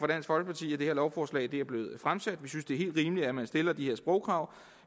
at det her lovforslag er blevet fremsat vi synes det er helt rimeligt at man stiller de her sprogkrav